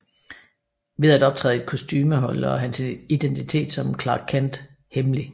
Ved at optræde i et kostume holder han sin identitet som Clark Kent hemmelig